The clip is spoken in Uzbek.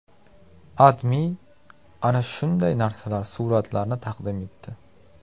AdMe ana shunday narsalar suratlarini taqdim etdi .